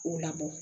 K'u labɔ